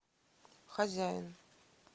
хозяин